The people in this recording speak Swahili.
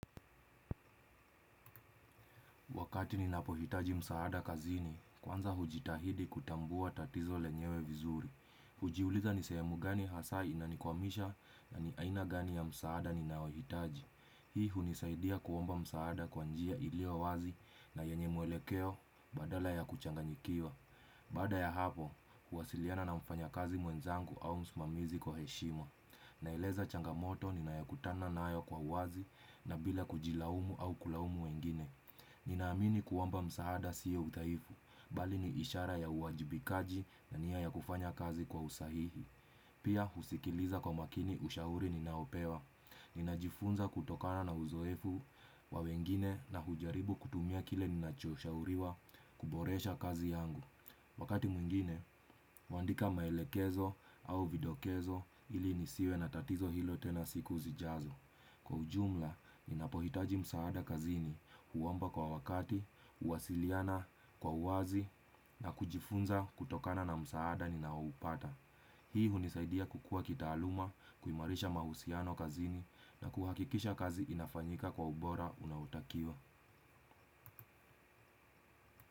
Wakati ninapo hitaji msaada kazini, kwanza hujitahidi kutambua tatizo lenyewe vizuri. Ujiuliza ni sehemu gani hasa inanikwamisha na ni aina gani ya msaada ninaohitaji. Hii hunisaidia kuomba msaada kwa njia iliyo wazi na yenye mwelekeo badala ya kuchanganyikiwa. Baada ya hapo, huwasiliana na mfanya kazi mwenzangu au msimamizi kwa heshima. Naeleza changamoto ninayokutana nayo kwa uwazi na bila kujilaumu au kulaumu wengine. Ninaamini kuomba msaada sio udhaifu, bali ni ishara ya uwajibikaji na nia ya kufanya kazi kwa usahihi Pia husikiliza kwa makini ushauri ninaopewa Ninajifunza kutokana na uzoefu wa wengine na hujaribu kutumia kile ninachoshauriwa kuboresha kazi yangu Wakati mwingine, huandika maelekezo au vidokezo ili nisiwe na tatizo hilo tena siku zijazo Kwa ujumla, ninapohitaji msaada kazini, huomba kwa wakati, uwasiliana kwa wazi na kujifunza kutokana na msaada ninaopata. Hii hunisaidia kukua kitaaluma, kuimarisha mahusiano kazini na kuhakikisha kazi inafanyika kwa ubora unautakio.